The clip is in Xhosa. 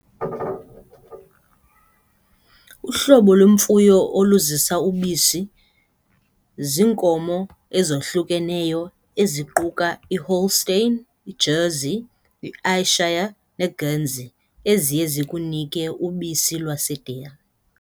Uhlobo lwemfuyo oluzisa ubisi ziinkomo ezohlukeneyo eziquka i-holstein, i-jersey, i-ayrshire ne-guernsey eziye zikunike ubisi lwase-dairy.